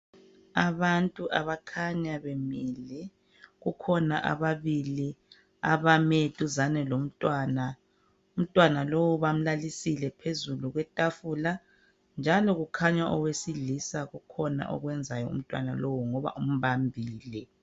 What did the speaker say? Abantu abakhanya bemile kukhona ababili abame duzane lomntwana. Umntwana lo bamlalisile phezu kwetafula njalo kukhanya owesilisa kukhona akwenzayo kumntwana lo ngoba umbambile.